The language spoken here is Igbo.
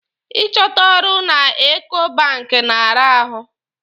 Ị chọta ọrụ na Eko banki na-ara ahụ.